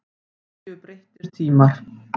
Nú séu breyttir tímar.